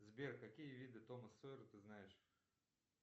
сбер какие виды тома сойера ты знаешь